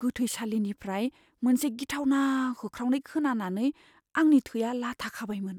गोथैसालिनिफ्राय मोनसे गिथावना होख्रावनाय खोनानानै आंनि थैया लाथा खाबायमोन।